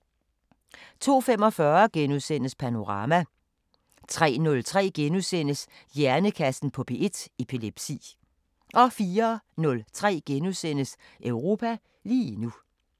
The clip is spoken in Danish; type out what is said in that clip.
02:45: Panorama * 03:03: Hjernekassen på P1: Epilepsi * 04:03: Europa lige nu *